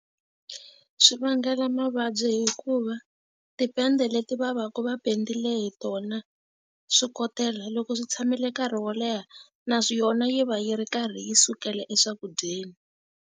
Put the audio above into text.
Swi vangela mavabyi hikuva tipende leti va va ka va pendile hi tona swikotela loko swi tshamile nkarhi wo leha na yona yi va yi ri karhi yi sukela eswakudyeni.